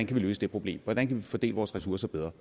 kan løse det problem hvordan vi kan fordele vores ressourcer bedre